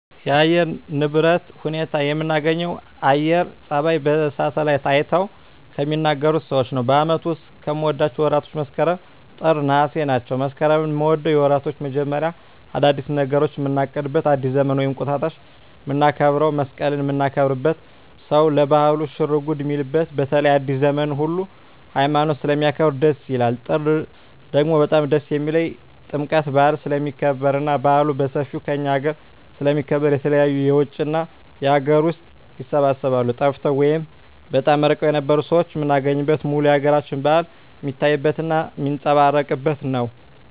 የአየር ንብረቶች ንብረት ሁኔታ የምናገኘው አየረ ተነባዩች በሳሀትአላይት አይተው ከሚናገሩት ሰዎች ነው በአመቱ ዉስጥ ከምወዳቸው ወራቶች መስከረም ጥር ነሃሴ ናቸው መስከረምን ምወደው የወራቶች መጀመሪያ አዳዲስ ነገሮችን ምናቅድበት አዲስ ዘመንን ወይም እንቁጣጣሽ ምናከብረው መሰቀልን ምናከብርበት ሰው ለባህሉ ሽርጉድ ሚልበት በተለይ አዲሰ ዘመንን ሁሉ ሀይማኖት ስለሚያከብር ደስ ይላል ጥር ደግሞ በጣም ደስ የሚልኝ ጥምቀት በአል ስለሚከበር እና በአሉ በሠፌው ከእኛ አገረ ስለሚከበር የተለያዩ የውጭ እና የአገር ውስጥ ይሰባሰባሉ ጠፍተው ወይም በጣም እርቀዉን የነበሩ ሠዎች ምናገኝበት ሙሉ የአገራችን በአል ሜታይበት እና ሜጸባረቅበት ነው